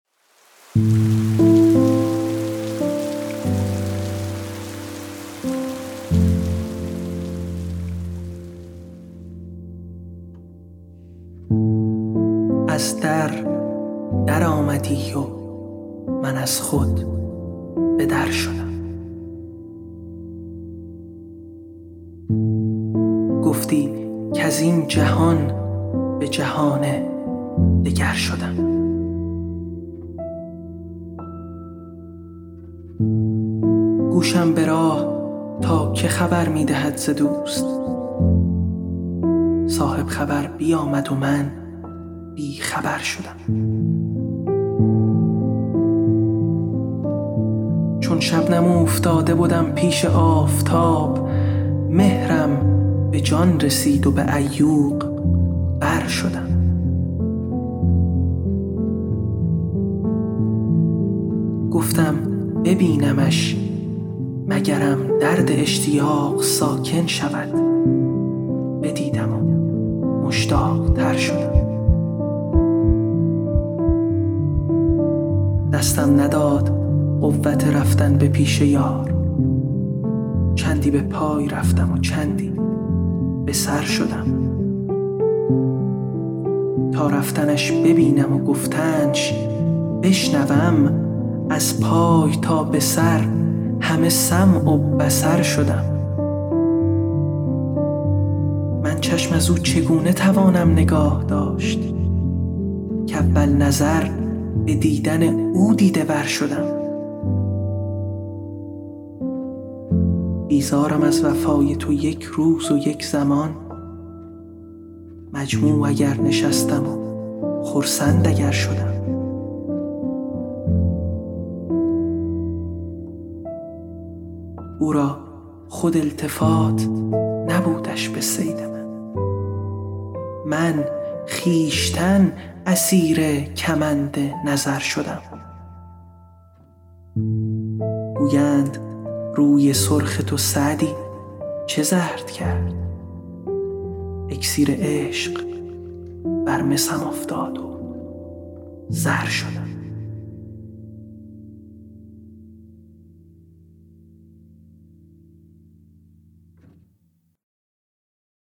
از در درآمدی و من از خود به در شدم گفتی کز این جهان به جهان دگر شدم گوشم به راه تا که خبر می دهد ز دوست صاحب خبر بیامد و من بی خبر شدم چون شبنم اوفتاده بدم پیش آفتاب مهرم به جان رسید و به عیوق بر شدم گفتم ببینمش مگرم درد اشتیاق ساکن شود بدیدم و مشتاق تر شدم دستم نداد قوت رفتن به پیش یار چندی به پای رفتم و چندی به سر شدم تا رفتنش ببینم و گفتنش بشنوم از پای تا به سر همه سمع و بصر شدم من چشم از او چگونه توانم نگاه داشت کاول نظر به دیدن او دیده ور شدم بیزارم از وفای تو یک روز و یک زمان مجموع اگر نشستم و خرسند اگر شدم او را خود التفات نبودش به صید من من خویشتن اسیر کمند نظر شدم گویند روی سرخ تو سعدی چه زرد کرد اکسیر عشق بر مسم افتاد و زر شدم